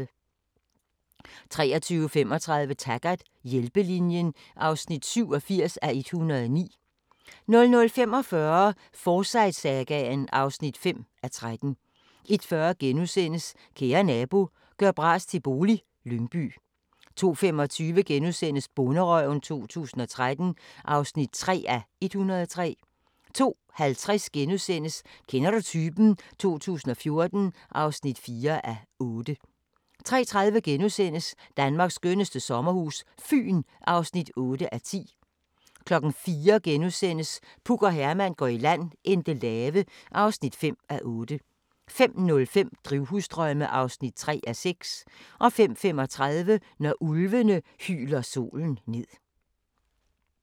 23:35: Taggart: Hjælpelinjen (87:109) 00:45: Forsyte-sagaen (5:13) 01:40: Kære nabo – gør bras til bolig - Lyngby * 02:25: Bonderøven 2013 (3:103)* 02:50: Kender du typen? 2014 (4:8)* 03:30: Danmarks skønneste sommerhus - Fyn (8:10)* 04:00: Puk og Herman går i land - Endelave (5:8)* 05:05: Drivhusdrømme (3:6) 05:35: Når ulvene hyler solen ned